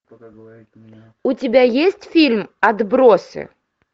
у тебя есть фильм отбросы